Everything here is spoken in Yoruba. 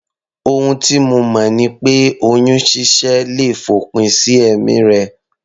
Ohun tí mo mọ̀ ni pé oyún ṣíṣẹ́ le fòpin sí ẹ̀mí rẹ